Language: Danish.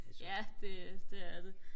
ja det det er det